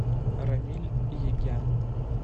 рамиль егян